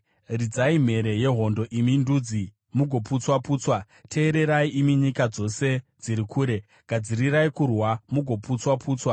Ridzai mhere yehondo, imi ndudzi, mugoputswa-putswa! Teererai, imi nyika dzose dziri kure. Gadzirirai kurwa, mugoputswa-putswa!